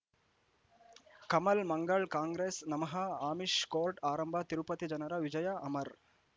Kamal Mangal Congress ನಮಃ Amish court ಆರಂಭ ತಿರುಪತಿ ಜನರ ವಿಜಯ ಅಮರ್